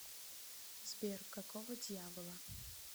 сбер какого дьявола